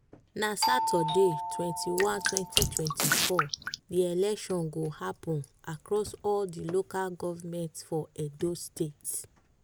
na saturday twenty one twenty twenty four di election go happun across all di local govment for edo state.